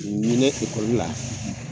Ɲinɛ la